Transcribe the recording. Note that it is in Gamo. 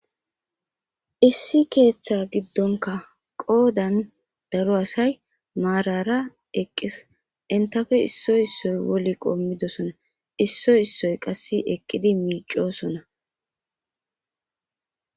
issi keeththa giddonka qoodan daro asay maarara eqqis intafe issoy issoy woli qoommidosona issoy issoy qasse eqqidi miicosona